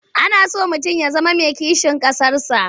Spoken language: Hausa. Ana so mutum ya zama mai kishin ƙasarsa.